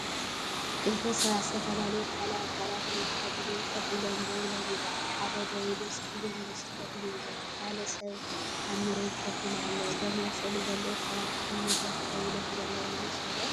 ክልተ ሰባት ዝተፈላለየ ባህላዊ ኣከዳድና ተኸዲኖም ኮፍ ኢሎም ደው ኢሎም ይረኣዩ። ሓደ ደው ኢሉ ጸሊም ልብስ ተኸዲኑ ኣሎ። እቲ ካልእ ሰብ ኣብ መሬት ኮፍ ኢሉ ኣሎ። እዞም ኣብ ስእሊ ዘለዉ ሰባት ኣብ መድረኽ ደው ኢሎም ዘለዉ ይመስሉ ዶ?